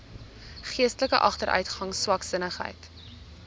geestelike agteruitgang swaksinnigheid